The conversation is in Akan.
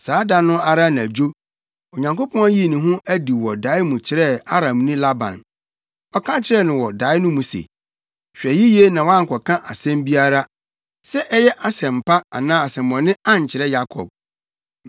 Saa da no ara anadwo, Onyankopɔn yii ne ho adi wɔ dae mu kyerɛɛ Aramni Laban. Ɔka kyerɛɛ no wɔ dae no mu se, “Hwɛ yiye na woankɔka asɛm biara; sɛ ɛyɛ asɛm pa anaa asɛmmɔne ankyerɛ Yakob.”